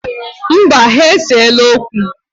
Mba, ha eseela okwu.